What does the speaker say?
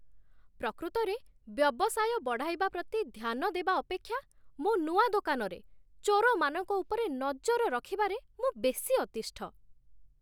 ପ୍ରକୃତରେ ବ୍ୟବସାୟ ବଢ଼ାଇବା ପ୍ରତି ଧ୍ୟାନ ଦେବା ଅପେକ୍ଷା, ମୋ ନୂଆ ଦୋକାନରେ, ଚୋରମାନଙ୍କ ଉପରେ ନଜର ରଖିବାରେ ମୁଁ ବେଶୀ ଅତିଷ୍ଠ ।